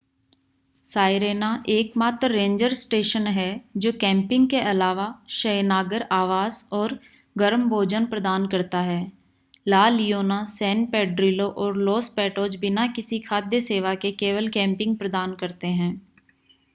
Sirena एकमात्र ranger station है जो कैंपिंग के अलावा शयनागार आवास और गर्म भोजन प्रदान करता है ला लियोना सैन पेड्रिलो और लॉस पैटोज बिना किसी खाद्य सेवा के केवल कैंपिंग प्रदान करते हैं